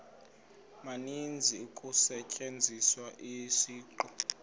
maninzi kusetyenziswa isiqu